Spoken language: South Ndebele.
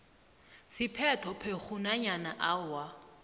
siphethophekghu nanyana awa